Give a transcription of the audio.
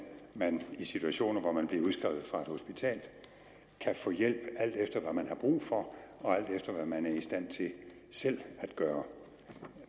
man i situationer hvor man bliver udskrevet fra et hospital kan få hjælp alt efter hvad man har brug for og alt efter hvad man er i stand til selv at gøre